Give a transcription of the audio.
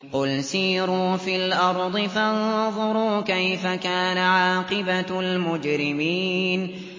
قُلْ سِيرُوا فِي الْأَرْضِ فَانظُرُوا كَيْفَ كَانَ عَاقِبَةُ الْمُجْرِمِينَ